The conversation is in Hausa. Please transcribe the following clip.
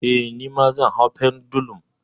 Eh, nima zan hau pendulum.